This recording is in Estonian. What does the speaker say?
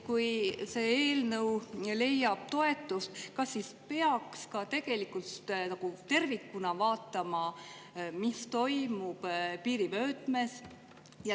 Kui see eelnõu leiab toetust, kas siis peaks ka nagu tervikuna vaatama, mis toimub piirivöötmes?